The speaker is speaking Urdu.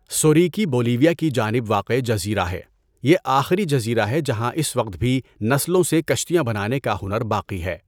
سوریکی بولیویا کی جانب واقع جزیرہ ہے۔ یہ آخری جزیرہ ہے جہاں اس وقت بھی نرسلوں سے کشتیاں بنانے کا ہنر باقی ہے۔